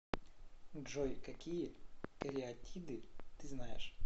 джой какие кариатиды ты знаешь